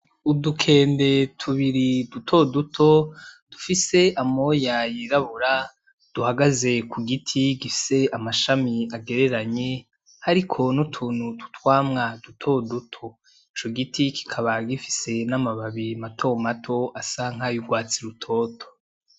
Udukende tubiri dutoduto dufise amoya yirabura duhagaze ku giti gifise amashami agereranye hariko n'utuntu tw'utwamwa dutoduto ico giti kikaba gifise b'amababi matomato asa nka y'urwatsi rutoto.